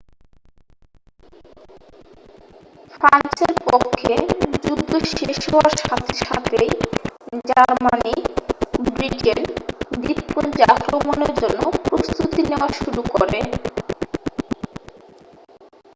ফ্রান্সের পক্ষে যুদ্ধ শেষ হওয়ার সাথে সাথেই জার্মানি ব্রিটেন দ্বীপপুঞ্জে আক্রমণের জন্য প্রস্তুতি নেওয়া শুরু করে